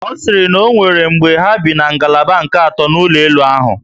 Ọ siri na onwere mgbe ha bi na ngalaba nke ato n'ụlọ elu ahụ